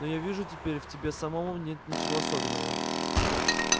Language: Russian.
но я вижу теперь в тебе самом нет ничего особенного